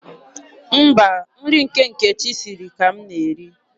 Mba, nri nke Nkechi siri ka m na-eri.